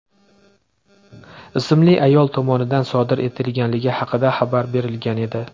ismli ayol tomonidan sodir etilgani haqida xabar berilgan edi .